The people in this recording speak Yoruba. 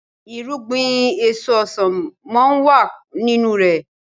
irúgbìn èso ọsán món wá nínú rẹ